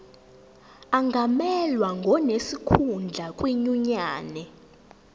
angamelwa ngonesikhundla kwinyunyane